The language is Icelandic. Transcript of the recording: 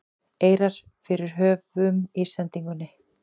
eirar fyrir höfum í sendingunni